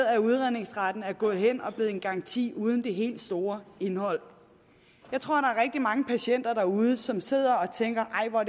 at udredningsretten dermed er gået hen og er blevet en garanti uden det helt store indhold jeg tror at mange patienter derude som sidder og tænker nej hvor